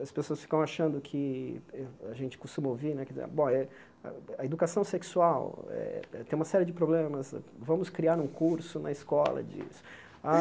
As pessoas ficam achando que, a gente costuma ouvir né, bom a a educação sexual eh tem uma série de problemas, vamos criar um curso na escola disso.